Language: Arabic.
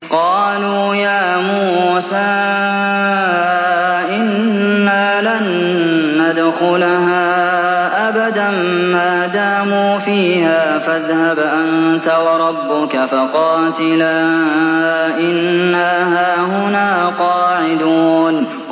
قَالُوا يَا مُوسَىٰ إِنَّا لَن نَّدْخُلَهَا أَبَدًا مَّا دَامُوا فِيهَا ۖ فَاذْهَبْ أَنتَ وَرَبُّكَ فَقَاتِلَا إِنَّا هَاهُنَا قَاعِدُونَ